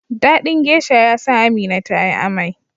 dadin geasha yasa Amina tayi amai